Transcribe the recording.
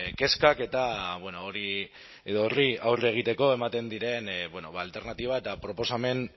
kezkak eta horri aurre egiteko ematen diren alternatiba eta proposamen